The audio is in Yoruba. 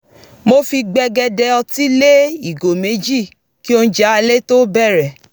mo fi gbègéde ọtí lé ìgò méjì kí oúnjẹ alẹ́ tó bẹ̀rẹ̀